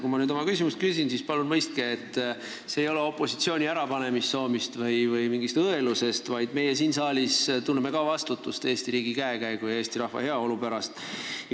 Kui ma nüüd oma küsimuse küsin, siis palun mõistke, et see ei ole opositsiooni ärapanemissoovist või mingist õelusest, vaid meie siin saalis tunneme ka vastutust Eesti riigi käekäigu ja Eesti rahva heaolu pärast.